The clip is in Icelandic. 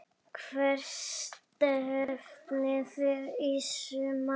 Hvert stefnið þið í sumar?